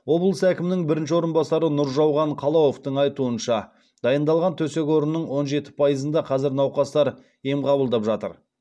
облыс әкімінің бірінші орынбасары нұржауған қалауовтың айтуынша дайындалған төсек орынның он жеті пайызында қазір науқастар ем қабылдап жатыр